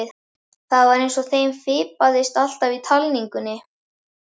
Það var eins og þeim fipaðist alltaf í talningunni.